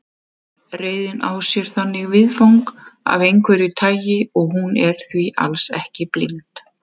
Reiðin á sér þannig viðfang af einhverju tagi og hún er því alls ekki blind.